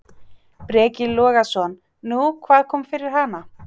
Breki Logason: Nú, hvað kom fyrir hana?